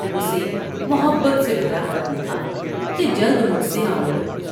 اسے محبت سے بھرا خط لکھا کہ جلد مجھ سے آملو ۔